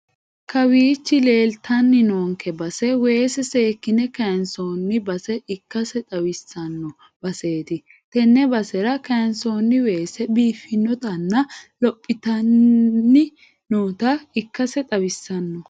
Kawiichi leeltanni noonke base weese seekine kaaynsoonni base ikkase xawissanno baseeti tenne basera kaaynsoonni weese biifinotanna lophitanni noota ikkase xawissanno.